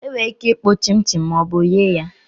Enwere ike hụ chinchin ma ọ bụ eghe ya